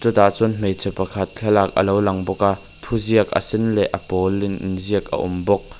tah chuan hmeichhe pakhat thlalak a lo lang bawk a thuziak a sen leh a pawl in in ziak a awm bawk.